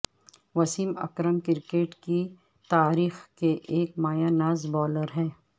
Wasim Akram cricket کی تاریخ کے ایک مایہ ناز بولر ہیں